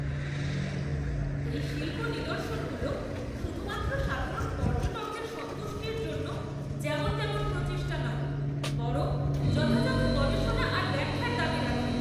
এই শিল্প নিদর্শনগুলো শুধুমাত্র সাধারণ পর্যটকদের সন্তুষ্টির জন্য যেমন তেমন প্রচেষ্টা নয়, বরং যথাযথ গবেষণা আর ব্যাখ্যার দাবি রাখে।